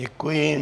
Děkuji.